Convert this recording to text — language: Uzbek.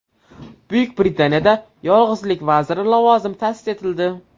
Buyuk Britaniyada yolg‘izlik vaziri lavozimi ta’sis etildi.